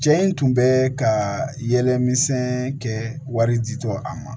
Cɛ in tun bɛ ka yɛlɛmisɛn kɛ wari ji tɔ a ma